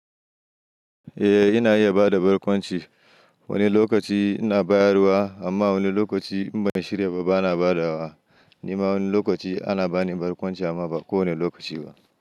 Eh ina iya bada barkwanci, wani lokaci ina bayarwa amma wani lokaci in ban shirya ba ba na badawa. Ni ma wani lokaci ana bani barkwanci amma ba kowane lokaci ba.